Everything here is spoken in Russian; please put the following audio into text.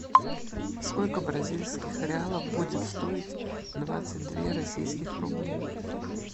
сколько бразильских реалов будет стоить двадцать две российских рублей